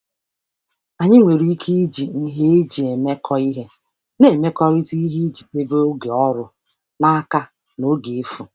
Anyị nwere ike iji nhe eji emekọ ihe na-emekọrịta ihe iji debe oge ọrụ n'aka na oge efu.